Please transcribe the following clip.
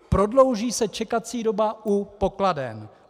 Prodlouží se čekací doba u pokladen.